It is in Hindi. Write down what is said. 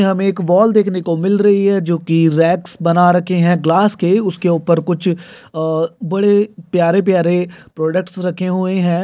यहाँ हमे एक वाल देखने को मिल रही है जो की रैक्स बना रखे है ग्लास के उसके ऊपर कुछ आह बड़े प्यारे प्यारे प्रोडक्ट्स रखे हुए है।